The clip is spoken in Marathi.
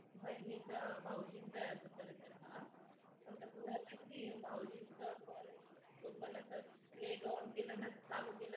बहिणींचा भाऊजी चा अगं खरं तर हा कसं झालं की भाऊजींच phone तो पण आता net on केलं ना ग चालू केलं